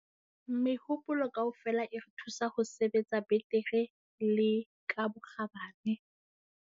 Mehopolo kaofela e re thusa ho sebetsa betere le ka bokgabane.